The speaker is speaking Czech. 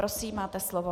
Prosím, máte slovo.